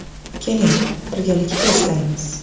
Keling, birgalikda eslaymiz.